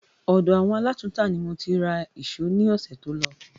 Ọ̀dọ̀ àwọn alátùntà ni mo ti ra èsó ní ọ̀sẹ̀ tó lọ